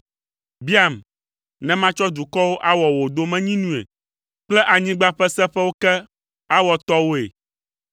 Biam, ne matsɔ dukɔwo awɔ wò domenyinui kple anyigba ƒe seƒewo ke awɔ tɔwòe.